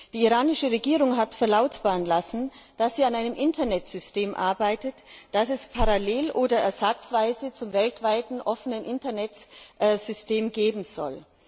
Die iranische Regierung hat verlautbaren lassen, dass sie an einem Internetsystem arbeitet, das es parallel oder ersatzweise zum weltweiten offenen Internetsystem geben soll.